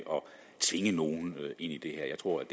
tvinge nogen ind i det her jeg tror